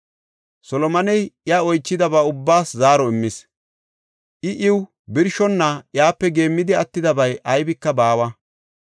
Solomoney iya oychidaba ubbaas zaaro immis; I iw birshonna iyape geemmidi attidabay aybika baawa.